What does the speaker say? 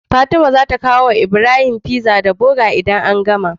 Fatima zata kawo wa Ibrahim pizza da burger idan an gama